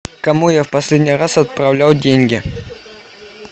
кому я в последний раз отправлял деньги